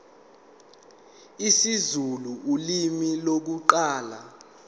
isizulu ulimi lokuqala